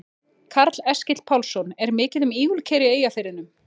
Karl Eskil Pálsson: Er mikið um ígulker í Eyjafirðinum?